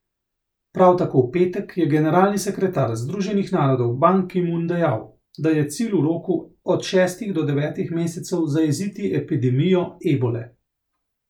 Prav tako v petek je generalni sekretar Združenih narodov Ban Ki Mun dejal, da je cilj v roku od šestih do devetih mesecev zajeziti epidemijo ebole.